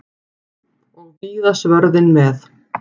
Og víða svörðinn með.